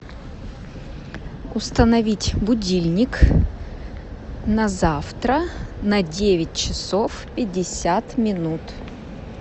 установить будильник на завтра на девять часов пятьдесят минут